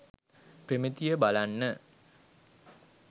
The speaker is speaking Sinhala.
ප්‍රමිතිය බලන්න